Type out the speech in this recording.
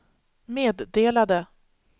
meddelade